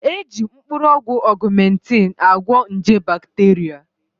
Eji mkpụrụ ọgwụ ọgụmentịn agwọ nje bakteria